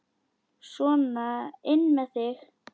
Sona inn með þig!